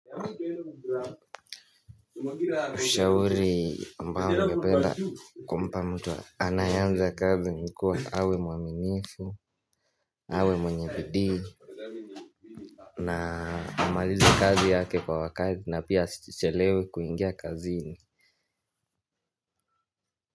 Ushauri ambao ningependa kumpa mtu anayeanza kazi ni kuwa awe mwaminifu, awe mwenye bidii na amalize kazi yake kwa wakati na pia asichelewe kuingia kazini.